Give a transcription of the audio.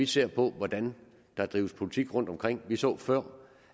se på hvordan der drives politik rundtomkring vi så før